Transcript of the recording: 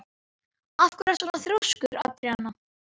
Af hverju ertu svona þrjóskur, Andríana?